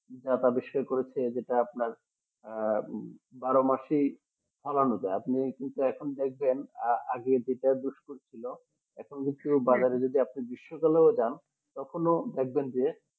যাতা বিশ্বে করেছে যেটা আপনার আহ বারোমাসি ফলানো যায় আপনি কিন্তু এখন দেখবেন আগে যেটা দুষ্কর ছিল এখন হচ্ছে বাজারে যদি আপনি গ্রীষ্মকালেও জান তখনো দেখবেন যে